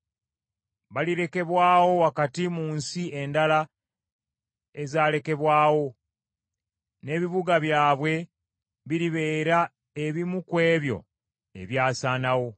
Balirekebwawo wakati mu nsi endala ezalekebwawo, n’ebibuga byabwe biribeera ebimu ku ebyo ebyasaanawo.